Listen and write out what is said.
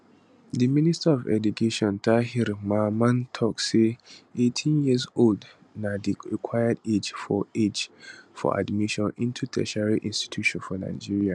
di minister of education tahir mamman tok say 18 years old na di required age for age for admission into tertiary institutions for nigeria